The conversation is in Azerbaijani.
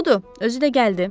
Budur, özü də gəldi.